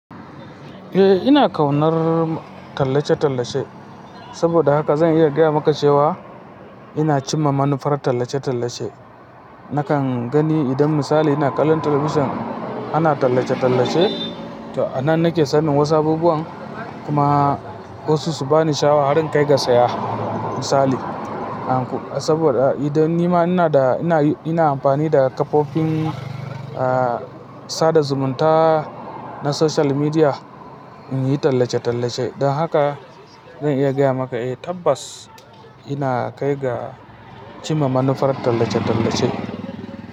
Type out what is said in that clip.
Eh ina ƙaunar tallace-tallace. Saboda haka zan iya gaya maka cewa ina cimma manufar tallace-tallace. Nakan gani idan misali ina kallon talabijin ana tallace-tallace, to a nan nake sanin wasu abubuwan kuma wasu su bani sha'awa har in kai ga saya misali. Saboda idan nima ina da, ina, ina amfani da kafofin, ah, sada zumunta na social media in yi tallace-tallace. Don haka zan iya gaya maka eh tabbas ina kai ga cimma manufar tallace-tallace.